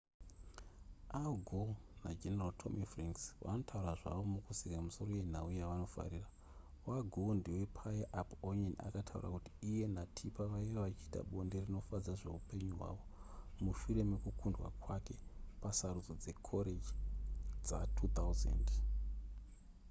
al gore nageneral tommy franks vanotaura zvavo mukuseka misoro yenhau yavanofarira wagore ndepaya apo onion akataura kuti iye natipper vaive vachiita bonde rinofadza zvehupenyu hwavo mushure mekukundwa kwake pasarudzo dzekoreji dza2000